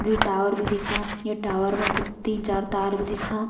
द्वि टावर भी दिखणा ये टावर मा ब-तीन चार तार भी दिखणा।